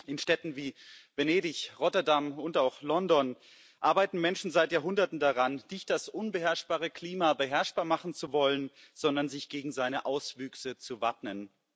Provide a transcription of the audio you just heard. In Städten wie Venedig, Rotterdam und auch London arbeiten Menschen seit Jahrhunderten daran, nicht das unbeherrschbare Klima beherrschbar machen zu wollen, sondern sich gegen seine Auswüchse zu wappnen.